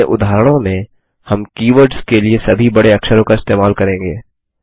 अपने उदाहरणों में हम कीवर्ड्स के लिए सभी बड़े अक्षरों का इस्तेमाल करेंगे